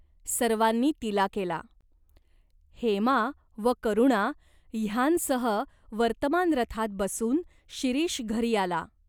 सर्वांनी तिला केला. हेमा व करुणा ह्यांसह वर्तमान रथात बसून शिरीष घरी आला.